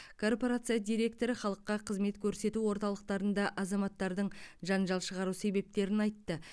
корпорация директоры халыққа қызмет көрсету орталықтарында азаматтардың жанжал шығару себептерін айтты